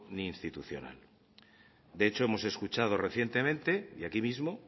ni institucional de hecho hemos escuchado recientemente y aquí mismo